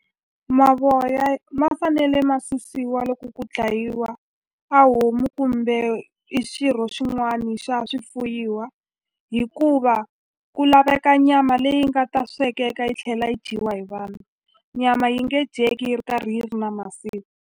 Mavoya ma fanele ma susiwa loko ku dlayiwa a homu kumbe i xirho xin'wani xa swifuyiwa hikuva ku laveka nyama leyi nga ta swekeka yi tlhela yi dyiwa hi vanhu nyama yi nge dyeki yi ri karhi yi ri na masiva.